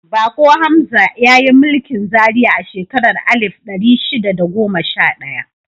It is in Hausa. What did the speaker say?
Bako Hamza ya yi mulkin Zaria a shekarar alif ɗari shida da goma sha ɗaya.